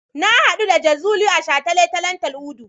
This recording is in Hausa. Na haɗu da Jazuli a shataletalen Tal'udu.